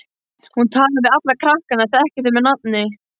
Hún talar við alla krakkana, þekkir þau með nafni.